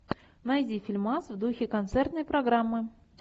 найди фильмас в духе концертной программы